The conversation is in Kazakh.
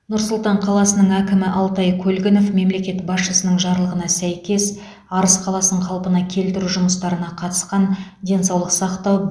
нұр сұлтан қаласының әкімі алтай көлгінов мемлекет басшысының жарлығына сәйкес арыс қаласын қалпына келтіру жұмыстарына қатысқан денсаулық сақтау